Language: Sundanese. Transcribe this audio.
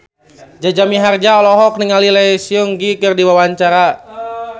Jaja Mihardja olohok ningali Lee Seung Gi keur diwawancara